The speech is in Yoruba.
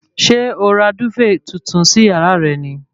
Ṣé o ra dúfèè tuntun sí yàrá rẹ ni?